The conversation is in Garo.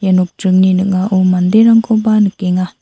ia nokdringni ning·ao manderangkoba nikenga.